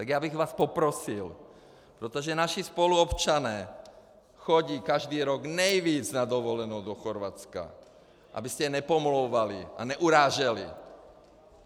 Tak já bych vás poprosil, protože naši spoluobčané jezdí každý rok nejvíc na dovolenou do Chorvatska, abyste je nepomlouvali a neuráželi.